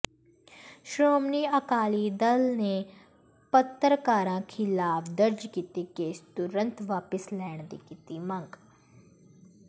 ਸ਼੍ਰੋਮਣੀ ਅਕਾਲੀ ਦਲ ਨੇ ਪੱਤਰਕਾਰਾਂ ਖਿਲਾਫ ਦਰਜ ਕੀੇਤੇ ਕੇਸ ਤੁਰੰਤ ਵਾਪਸ ਲੈਣ ਦੀ ਕੀਤੀ ਮੰਗ